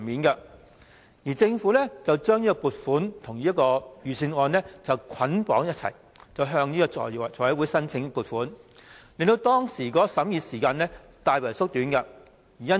當時政府將這筆撥款與財政預算案捆綁處理，一併向財務委員會申請撥款，令當時的審議時間大為縮短。